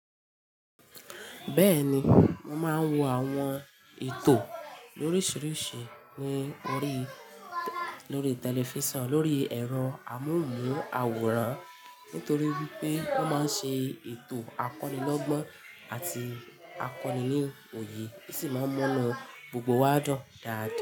Bẹ́ẹ̀ni, mo máa ń wo àwọn ètò oríṣiríṣi ní orí, lórí tẹlifísàn, lórí ẹ̀rọ amóhùnmáwòrán nítorí pé wọ́n máa ń ṣe ètò akonilọ́gbọ́n àti akoni ní òye bí sì máa ń mu'ny gbogbo wa dun dàáda.